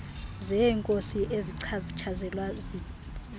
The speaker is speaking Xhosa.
zeenkosi ezichatshazelwa zizithethe